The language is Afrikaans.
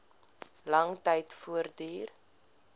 lang tyd voortduur